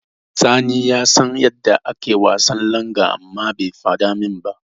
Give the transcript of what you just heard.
Sani ya san yadda ake wasan langa amma bai faɗa min ba.